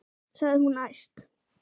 sagði hún æst.